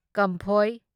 ꯀꯝꯐꯣꯢ